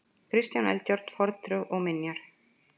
Kristján Eldjárn: Fornþjóð og minjar.